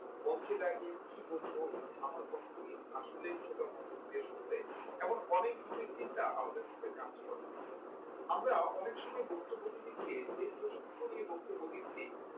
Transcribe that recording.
মঞ্চে দাঁড়িয়ে কি বলব আমার বক্তব্য কি আসলে শ্রোতা মনোযোগ দিয়ে শুনবে এমন অনেক ধরনের চিন্তা আমাদের মধ্যে কাজ করে আমরা অনেক সময় বক্তব্য দিতে গিয়ে যে প্রসঙ্গ নিয়ে বক্তব্য দিচ্ছি